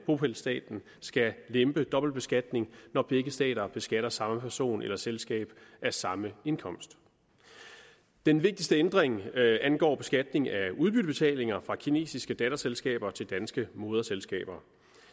bopælsstaten skal lempe dobbeltbeskatning når begge stater beskatter samme person eller selskab af samme indkomst den vigtigste ændring angår beskatning af udbyttebetalinger fra kinesiske datterselskaber til danske moderselskaber